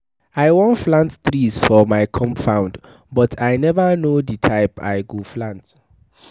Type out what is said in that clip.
I wan plant trees for my compound but I never no the type I go plant.